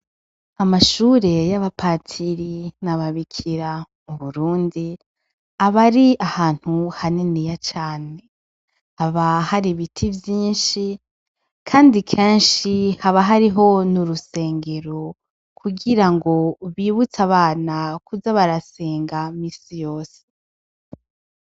Amashure y'abapatiri n'ababikira mu Burundi, aba ari ahantu haniniya cane. Haba hari ibiti vyinshi, kandi kenshi haba hariho n'urusengero. Kugira ngo bibutse abana kuza barasenga misi yose.